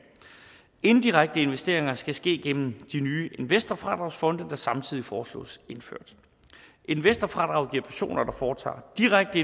indirekte investeringer skal ske gennem de nye investorfradragsfonde der samtidig foreslås indført investorfradraget giver personer der foretager direkte